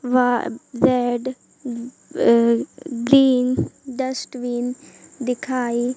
वह red a green dustbin दिखाई--